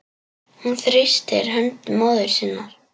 Hún þrýstir hönd móður sinnar.